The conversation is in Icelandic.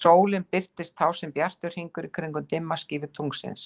Sólin birtist þá sem bjartur hringur í kringum dimma skífu tunglsins.